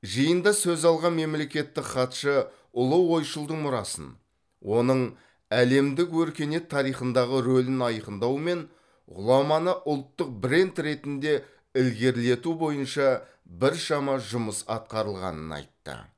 жиында сөз алған мемлекеттік хатшы ұлы ойшылдың мұрасын оның әлемдік өркениет тарихындағы рөлін айқындау мен ғұламаны ұлттық бренд ретінде ілгерілету бойынша біршама жұмыс атқарылғанын айтты